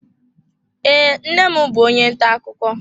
Ee, nne m bụ onye ntà akụkọ